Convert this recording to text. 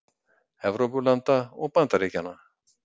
Evrópulanda og Bandaríkjanna.